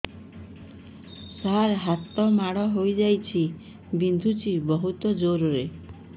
ସାର ହାତ ମାଡ଼ ହେଇଯାଇଛି ବିନ୍ଧୁଛି ବହୁତ ଜୋରରେ